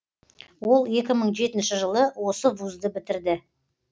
ол екі мың жетінші жылы осы вузды бітірді